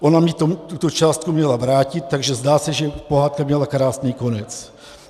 Ona mi tuto částku měla vrátit, takže zdá se, že pohádka měla krásný konec.